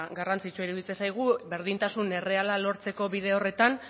garrantzitsua iruditzen zaigu berdintasun erreala lortzeko bide horretan